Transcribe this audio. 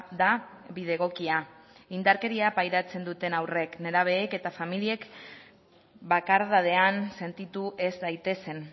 da bide egokia indarkeria pairatzen duten haurrek nerabeek eta familiek bakardadean sentitu ez daitezen